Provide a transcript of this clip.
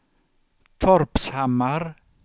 Torpshammar